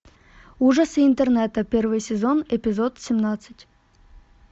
ужасы интернета первый сезон эпизод семнадцать